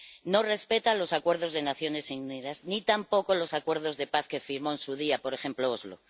No respeta los acuerdos de Naciones Unidas, ni tampoco los acuerdos de paz que firmó en su día, por ejemplo, los de Oslo.